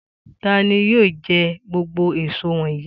Ta ni yóò jẹ gbogbo èso wọ̀nyí?